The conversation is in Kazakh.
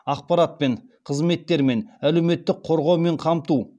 ақпаратпен қызметтермен әлеуметтік қорғаумен қамту